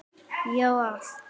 Já, allt.